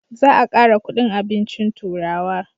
Za a kara kudin abincin turawa